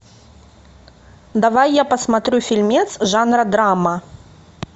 давай я посмотрю фильмец жанра драма